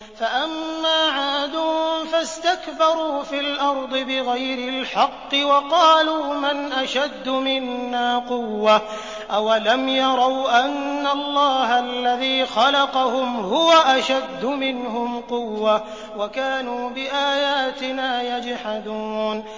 فَأَمَّا عَادٌ فَاسْتَكْبَرُوا فِي الْأَرْضِ بِغَيْرِ الْحَقِّ وَقَالُوا مَنْ أَشَدُّ مِنَّا قُوَّةً ۖ أَوَلَمْ يَرَوْا أَنَّ اللَّهَ الَّذِي خَلَقَهُمْ هُوَ أَشَدُّ مِنْهُمْ قُوَّةً ۖ وَكَانُوا بِآيَاتِنَا يَجْحَدُونَ